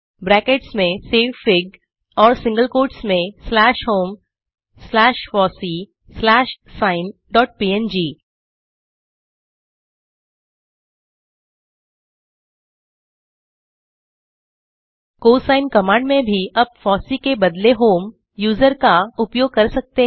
brackets में सेवफिग और सिंगल कोट्स में slash home slash FOSSEE slash sine dot PNG cosine command में भी आप फॉसी के बदले होम यूजर का उपयोग कर सकते हैं